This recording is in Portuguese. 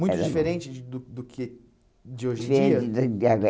Muito diferente de do do que de hoje em dia?